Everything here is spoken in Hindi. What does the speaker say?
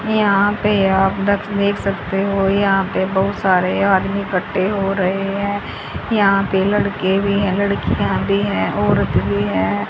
यहां पे आप दख देख सकते हो यहां पे बहुत सारे आदमी इकट्ठे हो रहे हैं यहां पे लड़के भी है लड़कियां भी है औरत भी है।